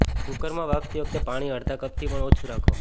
કૂકરમાં બાફતી વખતે પાણી અડધા કપથી પણ ઓછું રાખો